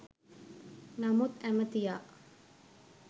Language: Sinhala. නමුත් ඇමතියා